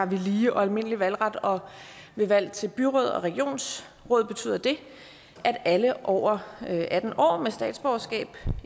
lige og almindelig valgret og ved valg til byråd og regionsråd betyder det at alle over atten år med statsborgerskab